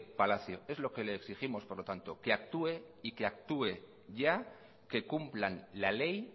palacio es lo que le exigimos por lo tanto que actúe y que actúe ya que cumplan la ley